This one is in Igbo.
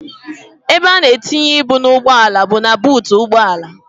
Ebe a na-etinye ibu n'ugbọala bụ na buutu ụgbọala.